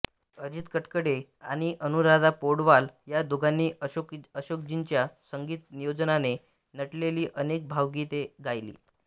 अजित कडकडे आणि अनुराधा पौडवाल या दोघांनी अशोकजींच्या संगीत नियोजनाने नटलेली अनेक भावगीते गायली